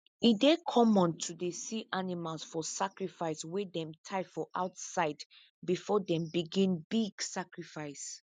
e dey common to dey see animals for sacrifice wey them tie for outside before them begin big sacrifice